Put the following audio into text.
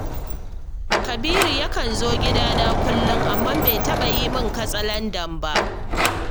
Kabiru yakan zo gidana kullum, amma bai taɓa yi min katsalandan ba